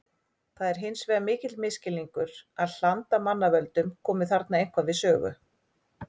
Það er hins vegar mikill misskilningur að hland af mannavöldum komi þarna eitthvað við sögu.